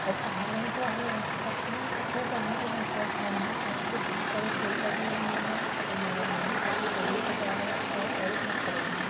और पहाड़ है जो हरे रंग की पत्ती है सफेद रंग का आसमान है पहाड़ पे बहुत सारे पड़े लगे हुए है और ना -- नदी काफ़ी तेजी से बह रही है और बहुत सारे पथर है।